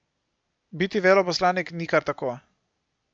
Biti veleposlanik ni kar tako.